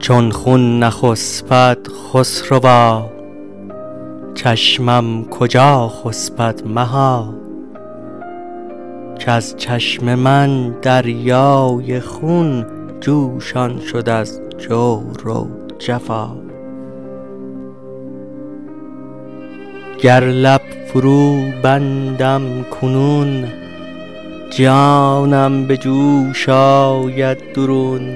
چون خون نخسپد خسروا چشمم کجا خسپد مها کز چشم من دریای خون جوشان شد از جور و جفا گر لب فروبندم کنون جانم به جوش آید درون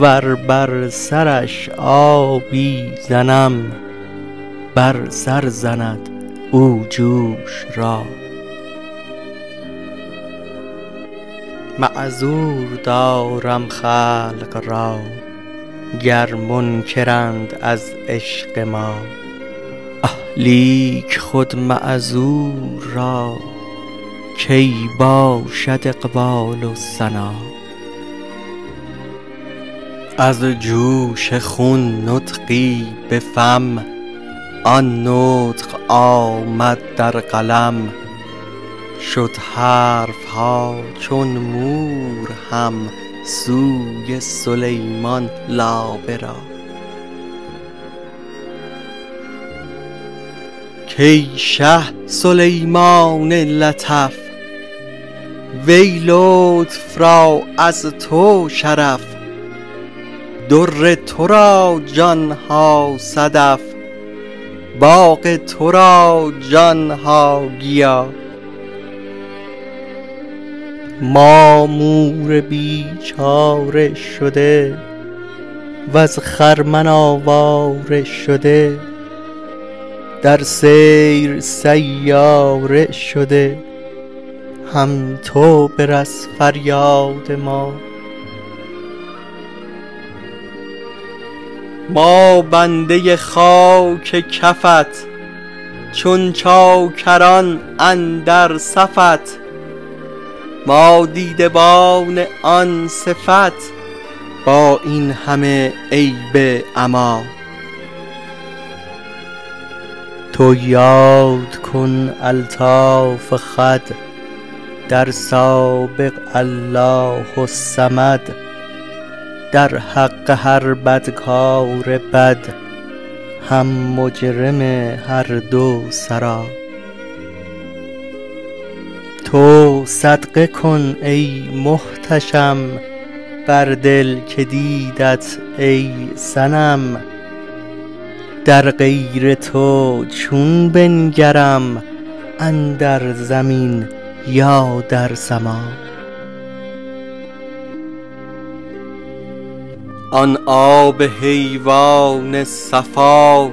ور بر سرش آبی زنم بر سر زند او جوش را معذور دارم خلق را گر منکرند از عشق ما اه لیک خود معذور را کی باشد اقبال و سنا از جوش خون نطقی به فم آن نطق آمد در قلم شد حرف ها چون مور هم سوی سلیمان لابه را کای شه سلیمان لطف وی لطف را از تو شرف در تو را جان ها صدف باغ تو را جان ها گیا ما مور بیچاره شده وز خرمن آواره شده در سیر سیاره شده هم تو برس فریاد ما ما بنده خاک کفت چون چاکران اندر صفت ما دیدبان آن صفت با این همه عیب عما تو یاد کن الطاف خود در سابق الله الصمد در حق هر بدکار بد هم مجرم هر دو سرا تو صدقه کن ای محتشم بر دل که دیدت ای صنم در غیر تو چون بنگرم اندر زمین یا در سما آن آب حیوان صفا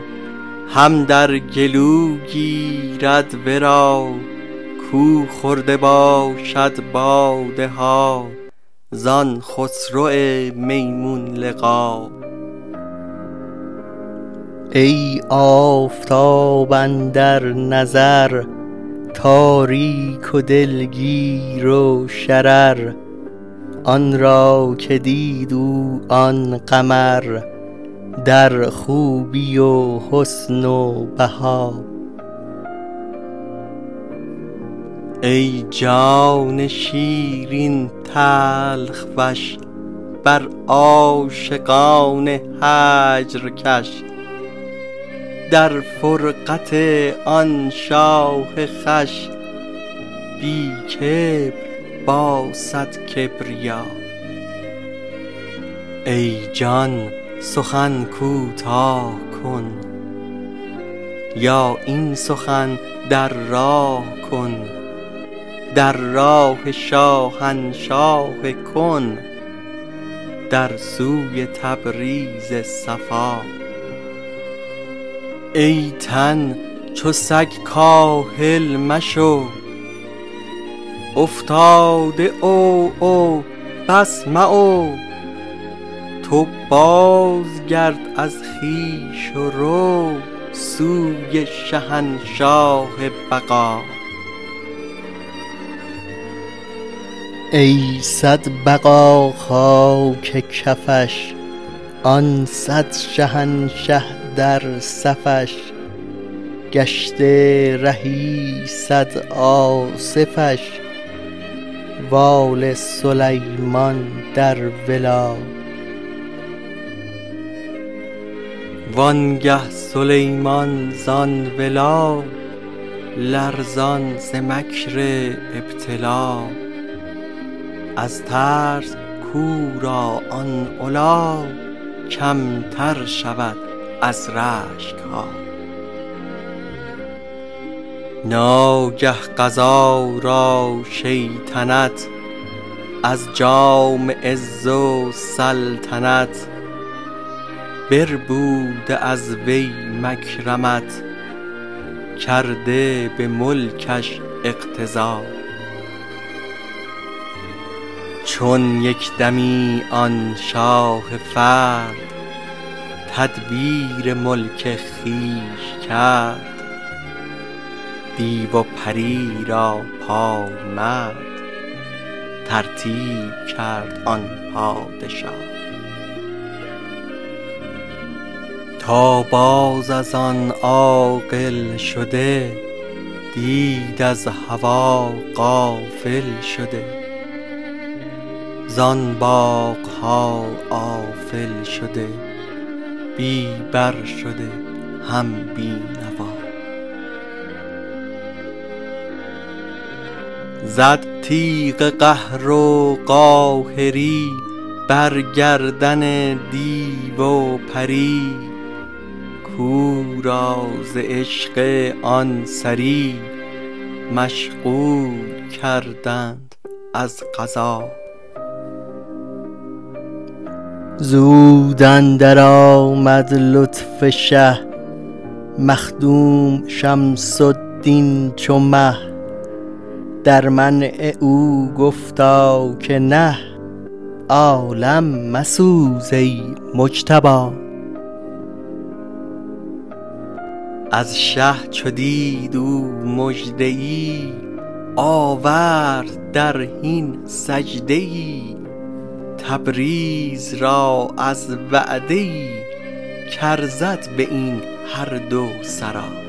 هم در گلو گیرد ورا کو خورده باشد باده ها زان خسرو میمون لقا ای آفتاب اندر نظر تاریک و دلگیر و شرر آن را که دید او آن قمر در خوبی و حسن و بها ای جان شیرین تلخ وش بر عاشقان هجر کش در فرقت آن شاه خوش بی کبر با صد کبریا ای جان سخن کوتاه کن یا این سخن در راه کن در راه شاهنشاه کن در سوی تبریز صفا ای تن چو سگ کاهل مشو افتاده عوعو بس معو تو بازگرد از خویش و رو سوی شهنشاه بقا ای صد بقا خاک کفش آن صد شهنشه در صفش گشته رهی صد آصفش واله سلیمان در ولا وانگه سلیمان زان ولا لرزان ز مکر ابتلا از ترس کو را آن علا کمتر شود از رشک ها ناگه قضا را شیطنت از جام عز و سلطنت بربوده از وی مکرمت کرده به ملکش اقتضا چون یک دمی آن شاه فرد تدبیر ملک خویش کرد دیو و پری را پای مرد ترتیب کرد آن پادشا تا باز از آن عاقل شده دید از هوا غافل شده زان باغ ها آفل شده بی بر شده هم بی نوا زد تیغ قهر و قاهری بر گردن دیو و پری کو را ز عشق آن سری مشغول کردند از قضا زود اندرآمد لطف شه مخدوم شمس الدین چو مه در منع او گفتا که نه عالم مسوز ای مجتبا از شه چو دید او مژده ای آورد در حین سجده ای تبریز را از وعده ای کارزد به این هر دو سرا